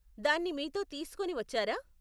దాన్ని మీతో తీసుకుని వచ్చారా?